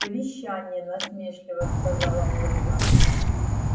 совещание насмешливо сказала ольга